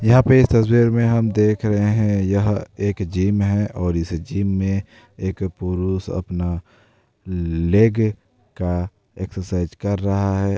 यहाँ पे इस तस्वीर में हम देख रहे हैं यह एक जिम है और इस जिम में एक पुरुष अपना लेग का एक्सरसाइज कर रहा है।